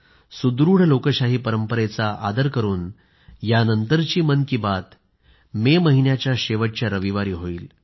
सुदृढ लोकशाही परंपरेचा आदर करून यानंतरची मन की बात मे महिन्याच्या शेवटच्या रविवारी होईल